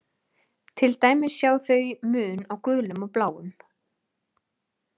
Til dæmis sjá þau mun á gulum og bláum.